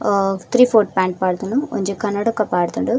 ಆ three fourth pant ಪಾಡ್ದುಂಡು ಒಂಜಿ ಕನ್ನಡಕ ಪಾಡ್ದುಂಡು.